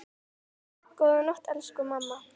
Góða nótt, elsku mamma.